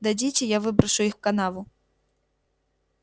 дадите я выброшу их в канаву